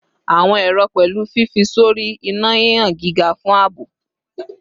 Awọn ero pẹlu fifi sori ina hihan giga fun aabo